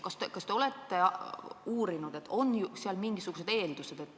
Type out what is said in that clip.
Kas te olete uurinud, on seal mingisuguseid eeldusi?